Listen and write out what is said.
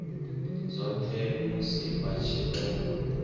dzothe musi vha tshi tou